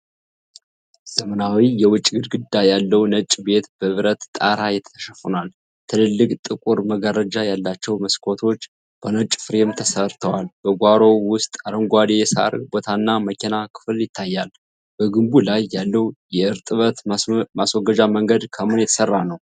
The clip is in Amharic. ዘመናዊ የውጭ ግድግዳ ያለው ነጭ ቤት በብረት ጣራ ተሸፍኗል። ትልልቅ ጥቁር መጋረጃ ያላቸው መስኮቶች በነጭ ፍሬም ተሰርተዋል። በጓሮው ውስጥ አረንጓዴ የሳር ቦታና መኪና ክፍል ይታያል። በግንቡ ላይ ያለው የእርጥበት ማስወገጃ መንገድ ከምን የተሰራ ነው?